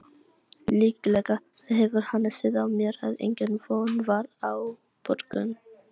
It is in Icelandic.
Líklega hefur hann séð á mér að engin von var á borgun.